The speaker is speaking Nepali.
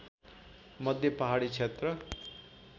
मध्ये पहाडी क्षेत्र